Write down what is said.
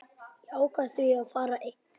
Ég ákvað því að fara einn.